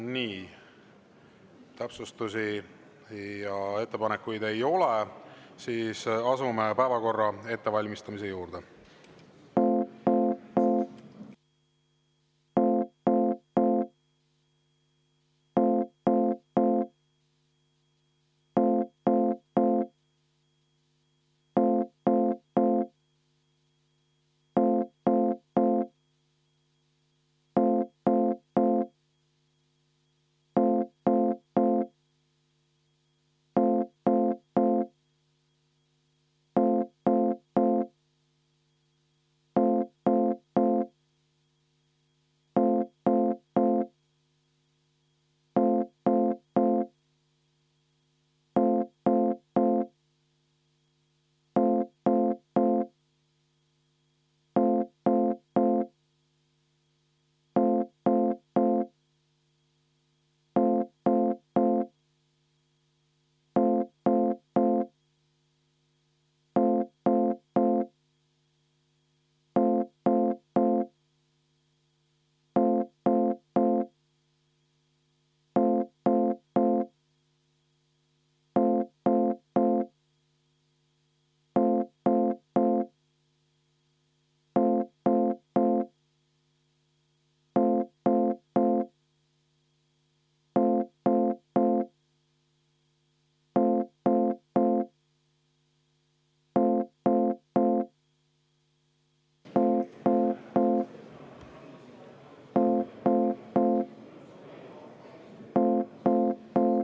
Nii, täpsustusi ja ettepanekuid ei ole, seega asume päevakorra hääletamise juurde.